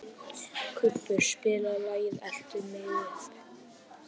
Kubbur, spilaðu lagið „Eltu mig uppi“.